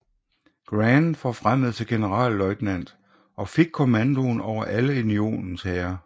Grant forfremmet til generalløjtnant og fik kommandoen over alle Unionens hære